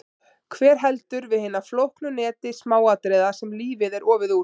Hver heldur við hinu flókna neti smáatriða sem lífið er ofið úr?